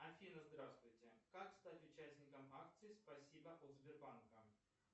афина здравствуйте как стать участником акции спасибо от сбербанка